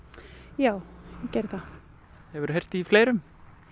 já ég geri það hefurðu heyrt í fleirum